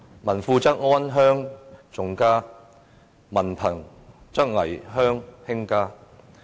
民富則安鄉重家，民貧則危鄉輕家。